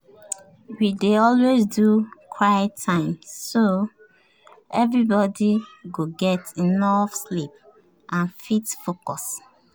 we dey always do quiet time so everybody go get enough sleep and fit focus.